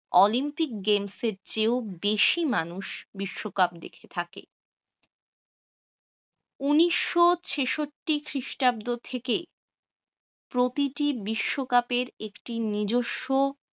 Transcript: olympic games এর চেয়েও বেশি মানুষ বিশ্বকাপ দেখে থাকে। উনিশ শ ছেষট্টি খ্রিস্টাব্দ থেকে প্রতিটি বিশ্বকাপের একটি নিজস্ব